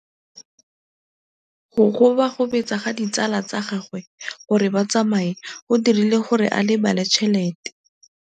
Go gobagobetsa ga ditsala tsa gagwe, gore ba tsamaye go dirile gore a lebale tšhelete.